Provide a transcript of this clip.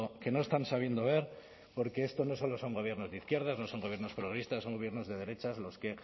que no están sabiendo ver porque esto no solo son gobiernos de izquierdas no son gobiernos progresistas son gobiernos de derechas los que